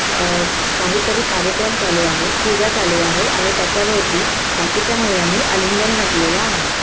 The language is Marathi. अह काही तरी कार्यक्रम चालू आहे. पूजा चालू आहे आणि त्याच्या भवती बाकीच्या महिलांनी अलिंगण घातलेलं आहे.